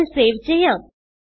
file save ചെയ്യാം